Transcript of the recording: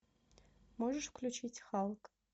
можешь включить халк